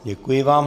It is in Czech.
Děkuji vám.